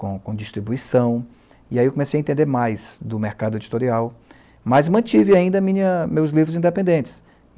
com com distribuição, e aí eu comecei a entender mais do mercado editorial, mas mantive ainda minha, meus livros independentes.